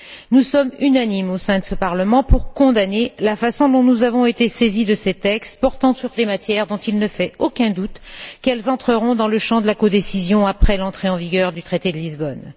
Nous sommes unanimes au sein de ce Parlement pour condamner la façon dont nous avons été saisis de ces textes portant sur des matières dont il ne fait aucun doute qu'elles entreront dans le champ de la codécision après l'entrée en vigueur du traité de Lisbonne.